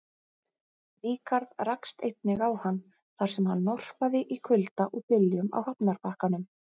Ríkharð rakst einnig á hann, þar sem hann norpaði í kulda og byljum á hafnarbakkanum.